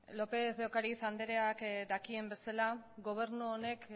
lópez de ocariz andreak dakien bezala gobernu honek